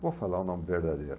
Não vou falar o nome verdadeiro.